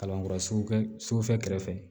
Kalanyɔrɔ sugu fɛ kɛrɛfɛ